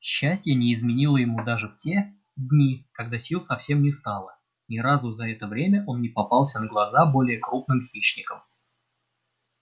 счастье не изменило ему даже в те дни когда сил совсем не стало ни разу за это время он не попался на глаза более крупным хищникам